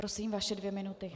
Prosím, vaše dvě minuty.